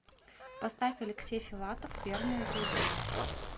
поставь алексей филатов верные друзья